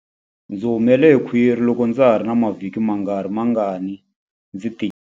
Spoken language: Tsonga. Ndzi humele hi khwiri loko ndza ha ri na mavhiki mangarimangani ndzi tikile.